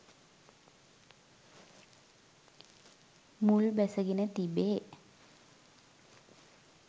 මුල් බැසගෙන තිබේ.